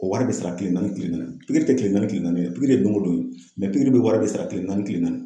O wari bɛ sara kile naani kile naani pikiri tɛ kile naani kile naani ye dɛ pikiri ye don o don pikiri bɛɛ wari bɛ sara kile naani kile naani.